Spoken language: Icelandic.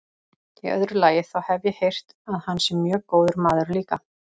Í öðru lagi, þá hef ég heyrt að hann sé mjög góður maður líka.